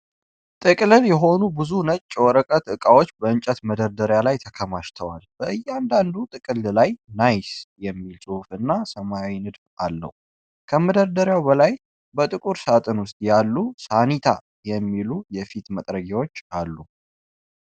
ጥቅልል የሆኑ ብዙ ነጭ የወረቀት እቃዎች በእንጨት መደርደሪያ ላይ ተከማችተዋል፡፡ በእያንዳንዱ ጥቅልል ላይ "ናይስ" የሚል ጽሑፍ እና ሰማያዊ ንድፍ አለው፡፡ ከመደዳው በላይ በጥቁር ሳጥን ውስጥ ያሉ "ሳኒታ" የሚሉ የፊት መጥረጊያዎች አሉ፡፡